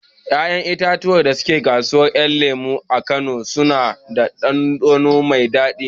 Ƴaƴan itatuwan da ke kasuwar ƴan lemo a kano suna da ɗanɗano mai daɗi